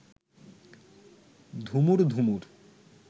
ধুমুর ধুমুর